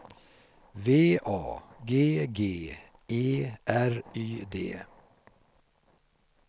V A G G E R Y D